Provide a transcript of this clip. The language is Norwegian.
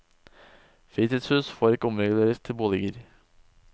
Fritidshus får ikke omreguleres til boliger.